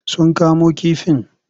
Sun kamo kifin?